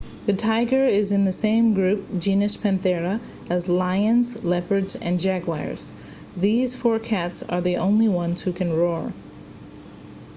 the tiger is in the same group genus panthera as lions leopards and jaguars. these four cats are the only ones who can roar